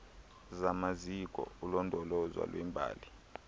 zamaziko olondolozo lwembali